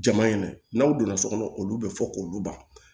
Jama in dɛ n'aw donna so kɔnɔ olu bɛ fɔ k'olu ban